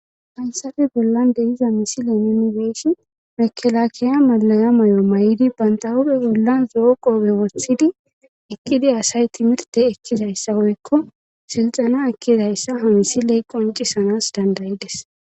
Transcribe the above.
Hayssafi bollan deyiza misile nunifeeshi mekelakiya malaya may7o may7idi bantawube bollan zoo qoobe wosthidi ekkidi asay timirte ekkizayssa woykko silxana ekkizayssa hamisiley qoncisanas dandayides.